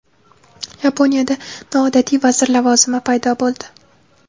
Yaponiyada noodatiy vazir lavozimi paydo bo‘ldi.